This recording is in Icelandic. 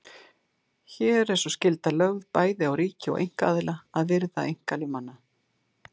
Hér er sú skylda lögð bæði á ríki og einkaaðila að virða einkalíf manna.